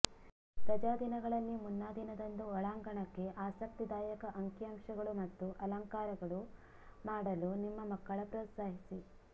ರಜಾದಿನಗಳಲ್ಲಿ ಮುನ್ನಾದಿನದಂದು ಒಳಾಂಗಣಕ್ಕೆ ಆಸಕ್ತಿದಾಯಕ ಅಂಕಿಅಂಶಗಳು ಮತ್ತು ಅಲಂಕಾರಗಳು ಮಾಡಲು ನಿಮ್ಮ ಮಕ್ಕಳ ಪ್ರೋತ್ಸಾಹಿಸಿ